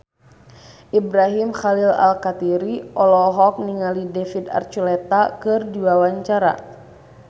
Ibrahim Khalil Alkatiri olohok ningali David Archuletta keur diwawancara